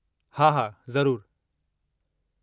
हा, हा, ज़रूरु।